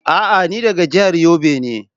A'a ni daga jihar Yobe ne